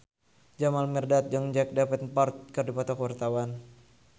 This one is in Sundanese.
Jamal Mirdad jeung Jack Davenport keur dipoto ku wartawan